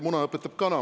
Muna õpetab kana.